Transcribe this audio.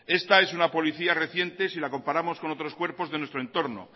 esta es una policía reciente si la comparamos con otros cuerpos de nuestro entorno